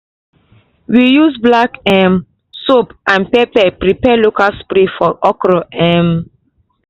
we use black um soap and pepper prepare local spray for okra um